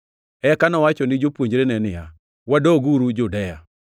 Eka nowacho ni jopuonjrene niya, “Wadoguru Judea.”